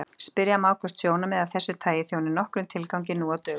Spyrja má hvort sjónarmið af þessu tagi þjóni nokkrum tilgangi nú á dögum.